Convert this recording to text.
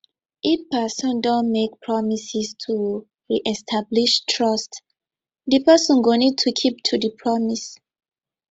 if person don make promises to reestablish trust di person go need to keep to di promise